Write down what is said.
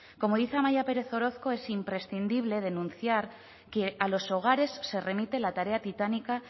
como dice amaia perez orozco es imprescindible denunciar que a los hogares se remite la tarea titánica